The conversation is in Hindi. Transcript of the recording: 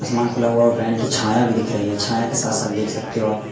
आसमान खुला हुआ है वैन की छाया भी दिख रही है छाया के साथ साथ देख सकते हो आप--